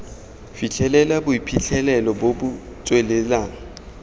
fitlhelela boiphitlhelelo bo bo tswelelang